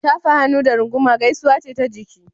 Shafahannu da runguma gaisuwa ce ta jiki.